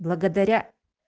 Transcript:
благодаря